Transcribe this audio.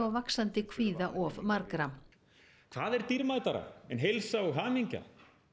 vaxandi kvíða of margra hvað er dýrmætara en heilsa og hamingja